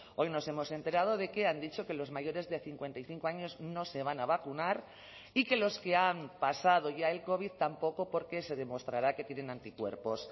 hoy nos hemos enterado de que han dicho que los mayores de cincuenta y cinco años no se van a vacunar y que los que han pasado ya el covid tampoco porque se demostrará que tienen anticuerpos